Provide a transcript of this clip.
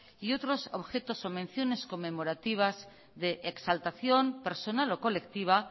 y otros objetos o menciones conmemorativas de exaltación personal o colectiva